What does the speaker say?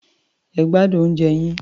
Ẹ gbádùn oúnjẹ yín.